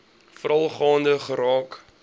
veral gaande geraak